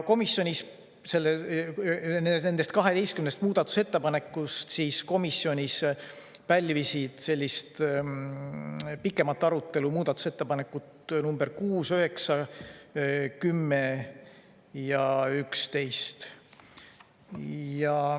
Komisjonis pälvisid nendest 12 muudatusettepanekust pikemat arutelu muudatusettepanekud nr 6, 9, 10 ja 11.